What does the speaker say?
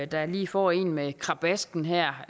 der lige får en med krabasken her